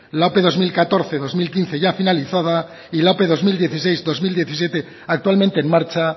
la ope dos mil catorce dos mil quince ya finalizada y la ope dos mil dieciséis dos mil diecisiete actualmente en marcha